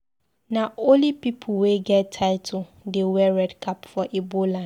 Na only pipu wey get title dey wey red cap for Igbo land.